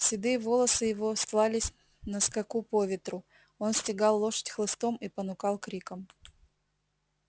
седые волосы его стлались на скаку по ветру он стегал лошадь хлыстом и понукал криком